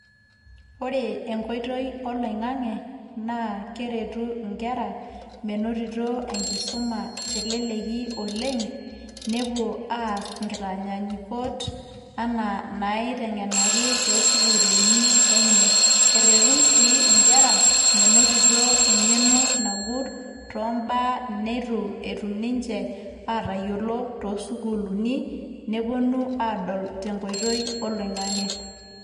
Ore enkoitoi oloing'ang'e, naa keretu inkera menotito enkisuma teleleki oleng',nepuo aas inkitanyanyukot enaa naiteng'enaki to sukuuluni enye. Erretu si inkera, menotito eng'eno nagut tombaa neitu etum ninche atayiolo to sukuulini, neponu aadol tenkoitoi oloing'ang'e.